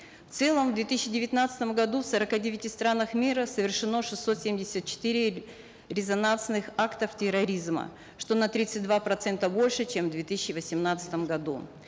в целом в две тысячи девятнадцатом году в сорока девяти странах мира совершено шестьсот семьдесят четыре резонансных актов терроризма что на тридцать два процента больше чем в две тысячи восемнадцатом году